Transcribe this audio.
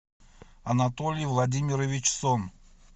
анатолий владимирович сом